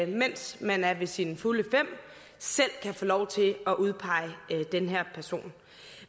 mens man er ved sine fulde fem selv kan få lov til at udpege den her person